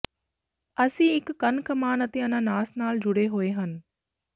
ਅਸੀਂ ਇਕ ਕੰਨ ਕਮਾਨ ਅਤੇ ਅਨਾਨਾਸ ਨਾਲ ਜੁੜੇ ਹੋਏ ਹਨ